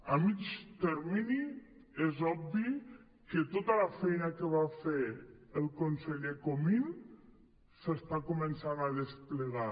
a mitjà termini és obvi que tota la feina que va fer el conseller comín s’està començant a desplegar